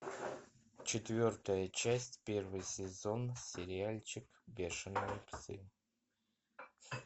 четвертая часть первый сезон сериальчик бешеные псы